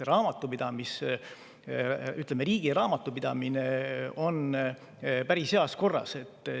Nii et riigi raamatupidamine on päris heas korras.